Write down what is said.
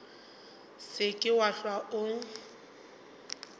se ke wa hlwa o